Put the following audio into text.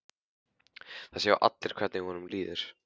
Það sjá allir hvernig honum líður.